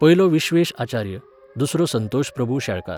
पयलो विश्वेश आचार्य, दुसरो संतोष प्रभू शेळकार.